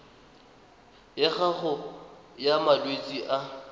ya gago ya malwetse a